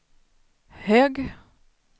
hög